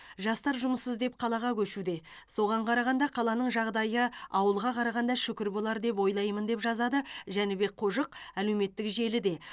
жастар жұмыс іздеп қалаға көшуде соған қарағанда қаланың жағдайы ауылға қарағанда шүкір болар деп ойлаймын деп жазады жәнібек қожық әлеуметтік желіде